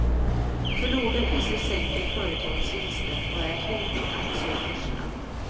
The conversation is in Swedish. För låga priser sänker företagens vinster och är ett hot mot aktiekurserna.